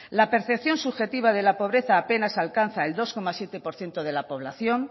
la percepción subjetiva de la pobreza apenas alcanza el dos coma siete por ciento de la población